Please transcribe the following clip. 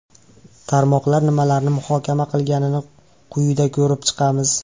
Tarmoqlar nimalarni muhokama qilganini quyida ko‘rib chiqamiz.